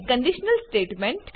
conditional statement